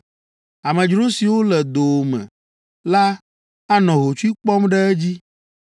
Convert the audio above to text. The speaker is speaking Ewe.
Amedzro siwo le dowòme la anɔ hotsui kpɔm ɖe edzi,